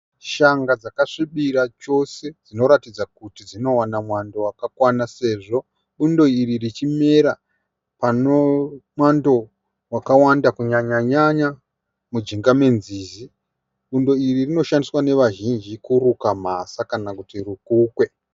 Shanga dzakasvibira chose dzinoratadza kuti dzinowana mwando wakanaka sezvo bundo iri richimera pane mwando wakawanda kunyanya-nyanya muzasi menzizi. Bundo iri rinoshandiswa nevazhinji kuruka mhasa kana kuti rukukwe.